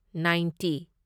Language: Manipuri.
ꯅꯥꯢꯟꯇꯤ